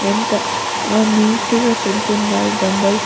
ఎంత నీట్ గా సర్ది ఉన్నారు డంబెల్స్ .